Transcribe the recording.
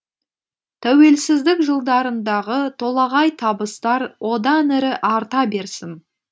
тәуелсіздік жылдарындағы толағай табыстар одан әрі арта берсін